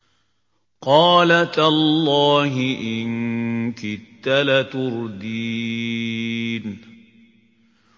قَالَ تَاللَّهِ إِن كِدتَّ لَتُرْدِينِ